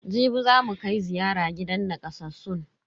Jibi zamu kai ziyara gidan nakasassun.